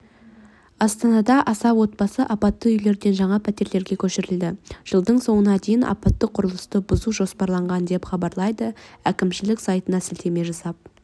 астанада аса отбасы апатты үйлерден жаңа пәтерлерге көшірілді жылдың соңына дейін апатты құрылысты бұзу жоспарланған деп хабарлайды әкімшілік сайтына сілтеме жасап